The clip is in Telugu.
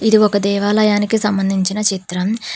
ఇది ఒక దేవాలయానికి సంబంధించిన చిత్రం.